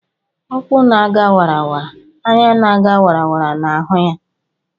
ụkwụ na ga wara; anya na ga wara na hụ ya